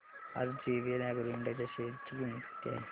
आज JVL Agro Ind च्या share ची किंमत किती आहे सांगा